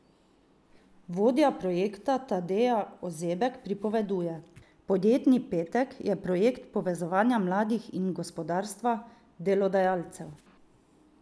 Vodja projekta Tadeja Ozebek pripoveduje: "Podjetni petek je projekt povezovanja mladih in gospodarstva, delodajalcev.